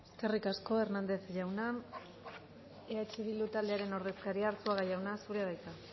eskerrik asko hernández jauna eh bildu taldearen ordezkaria arzuaga jauna zurea da hitza